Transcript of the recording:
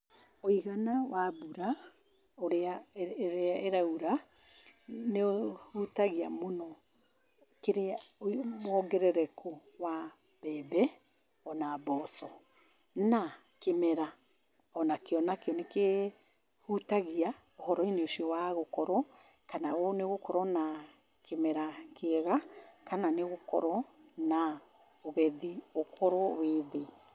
Ũigana wa mbura ũrĩa, ĩrĩa ĩraura nĩ ũhutagia mũno wongerereku wa mbembe o na mboco. Na, kĩmera o nakĩo nakĩo nĩ kĩhutagaia ũhoro-inĩ ũcio wa gũkorwo na nĩ ũgũkorwo na kĩmera kana nĩ ũgũkorwo na ũgethi ũkorwo wĩ thĩ